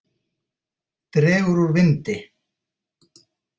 Dregur úr vindi